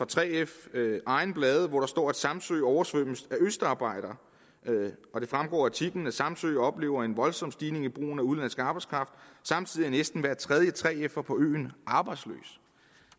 3fs egne blade hvor der står at samsø oversvømmes af østarbejdere og det fremgår af artiklen samsø oplever en voldsom stigning i brugen af udenlandsk arbejdskraft samtidig er næsten hver tredje 3fer på øen arbejdsløs